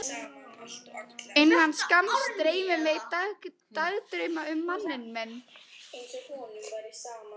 Innan skamms dreymir mig dagdrauma um manninn minn.